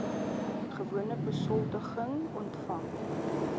gewone besoldiging ontvang